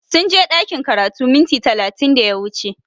Sunje ɗakin karatu minti talatin da ya wuce